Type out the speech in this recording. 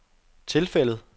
tilfældet